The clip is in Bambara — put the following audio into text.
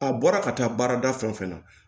A bɔra ka taa baarada fɛn o fɛn na